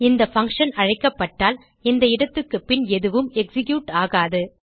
இந்த பங்ஷன் அழைக்கப்பட்டால் இந்த இடத்துக்குப்பின் எதுவும் எக்ஸிக்யூட் ஆகாது